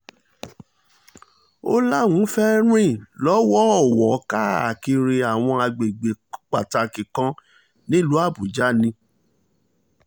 ó láwọn fẹ́ẹ́ rìn lọ́wọ̀ọ̀wọ́ káàkiri àwọn àgbègbè pàtàkì kan nílùú àbújá ni